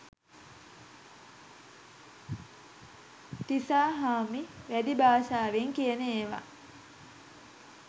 තිසාහාමි වැදි භාෂාවෙන් කියන ඒවා